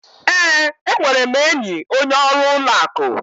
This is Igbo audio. Ee, enwere m enyi onye ọrụ ụlọ akụ.